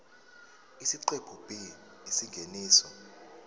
isiqephu b isingeniso